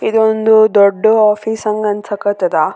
ಇದೊಂದು ದೊಡ್ಡ್ ಓಫೀಸ್ ಹಂಗ್ ಅನ್ಸಕತ್ತಾದ.